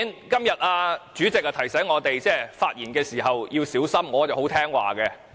今天主席提醒我們在發言時要小心，我是很聽話的。